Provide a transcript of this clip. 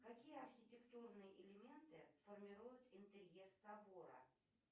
какие архитектурные элементы формируют интерьер собора